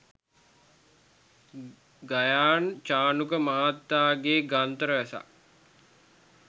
ගයාන් චානුක මහතාගේ ග්‍රන්ථ රැසක්